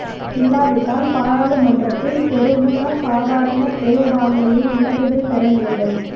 இல்லா விட்டால் பாராளுமன்றத்தில் பெரமுன சாதாரண பெரும்பான்மையை இலகுவில் பெற நேரிடும்